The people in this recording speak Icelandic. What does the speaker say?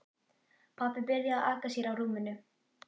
Pabbi byrjaði að aka sér á rúminu.